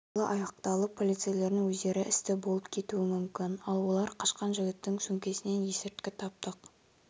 қайғылы аяқталып полицейлердің өздері істі болып кетуі мүмкін ал олар қашқан жігіттің сөмкесінен есірткі таптық